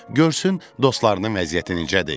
Görsün dostlarının vəziyyəti necədir.